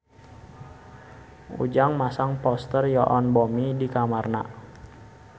Ujang masang poster Yoon Bomi di kamarna